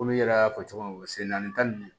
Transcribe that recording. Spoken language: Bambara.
Komi n yɛrɛ y'a fɔ cogo min na sen naani ta ninnu